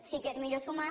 sí que és millor sumar